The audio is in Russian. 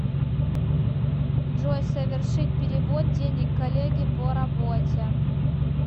джой совершить перевод денег коллеге по работе